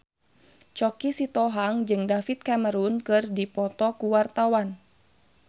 Choky Sitohang jeung David Cameron keur dipoto ku wartawan